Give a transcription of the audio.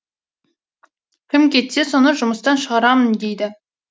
кім кетсе соны жұмыстан шығарамын дейді